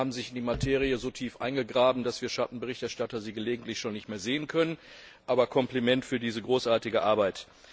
Die beiden haben sich in die Materie so tief eingegraben, dass wir Schattenberichterstatter sie gelegentlich schon nicht mehr sehen konnten. Kompliment für diese großartige Arbeit!